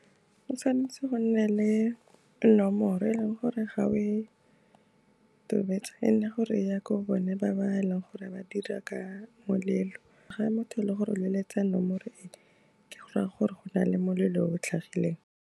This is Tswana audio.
O tshwanetse go nna le nomoro e leng gore ga o e tobetsa, e nne gore ya ko bone ba ba e leng gore ba dira ka molelo, ga motho le gore leletsa nomoro e ke gore go ra gore go na le molelo o tlhagileng.